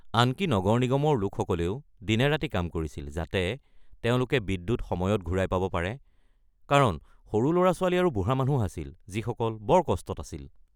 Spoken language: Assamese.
আনকি নগৰ নিগমৰ লোকসকলেও দিনে-ৰাতি কাম কৰিছিল, যাতে তেওঁলোকে বিদ্যুৎ সময়ত ঘূৰাই পাব পাৰে, কাৰণ বহু সৰু ল'ৰা-ছোৱালী আৰু বুঢ়া মানুহ আছিল যিসকল বৰ কষ্টত আছিল।